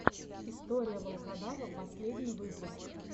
история волкодава последний выпуск